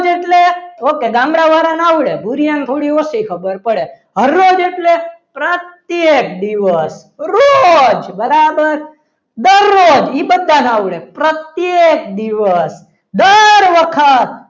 okay ગામડા વાળાને આવડે ભુરીયા ને થોડી ઓછી ખબર પડે હર રોજ એટલે પ્રત્યેક દિવસ રોજ બરાબર દરરોજ એ બધાને આવડે પ્રત્યેક દિવસ દર વખત